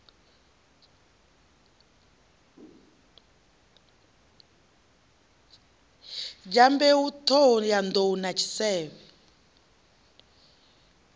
dyambeu t hohoyandou na tshisevhe